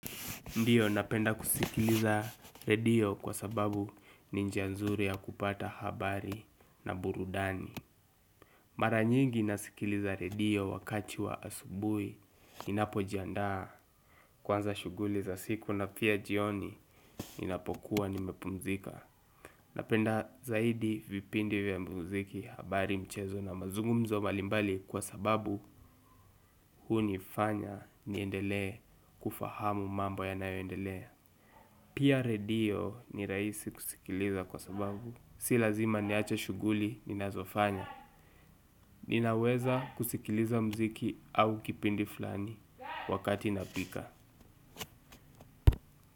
Ndio napenda kusikiliza redio kwa sababu ni njia nzuri ya kupata habari na burudani mara nyingi nasikiliza redio wakati wa asubuhi. Ninapo jiandaa kwanza shughuli za siku na pia jioni ninapokuwa nimepumzika napenda zaidi vipindi vya muziki habari mchezo na mazungumzo mbalimbali kwa sababu huni fanya niendelee kufahamu mambo yanayo endelea pia radio ni rahisi kusikiliza kwa sababu, si lazima niache shughuli ninazofanya. Ninaweza kusikiliza mziki au kipindi fulani wakati napika.